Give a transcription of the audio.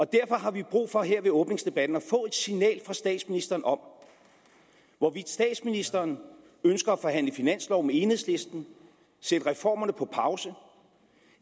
derfor har vi brug for her ved åbningsdebatten at få et signal fra statsministeren om hvorvidt statsministeren ønsker at forhandle finanslov med enhedslisten og sætte reformerne på pause